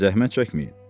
Zəhmət çəkməyin.